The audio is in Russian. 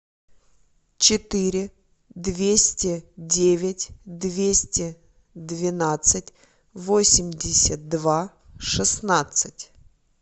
четыре двести девять двести двенадцать восемьдесят два шестнадцать